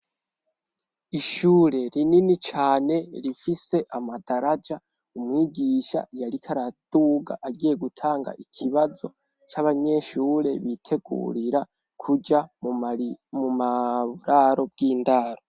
Ishure rinini cane rifise amadaraja umwigisha yariko araduga agiye gutanga ikibazo c'abanyeshure bitegurira kuja mu mararo bw'indaro.